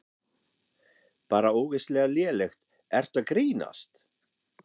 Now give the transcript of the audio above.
Bara ógeðslega lélegt, ertu að grínast?